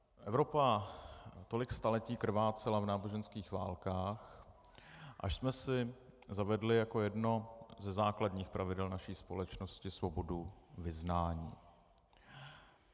Evropa tolik staletí krvácela v náboženských válkách, až jsme si zavedli jako jedno ze základních pravidel naší společnosti svobodu vyznání.